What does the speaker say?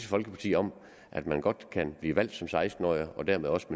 folkeparti om at man godt kan blive valgt som seksten årig og dermed også